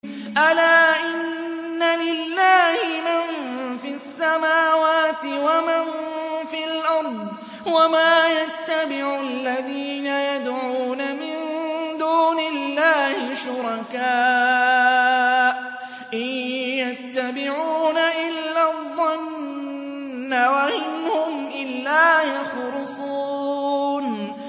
أَلَا إِنَّ لِلَّهِ مَن فِي السَّمَاوَاتِ وَمَن فِي الْأَرْضِ ۗ وَمَا يَتَّبِعُ الَّذِينَ يَدْعُونَ مِن دُونِ اللَّهِ شُرَكَاءَ ۚ إِن يَتَّبِعُونَ إِلَّا الظَّنَّ وَإِنْ هُمْ إِلَّا يَخْرُصُونَ